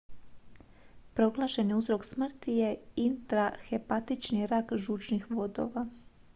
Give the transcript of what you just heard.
proglašeni uzrok smrti je intrahepatični rak žučnih vodova